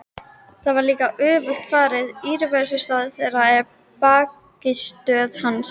Því var líka öfugt farið: íverustaður þeirra var bækistöð hans.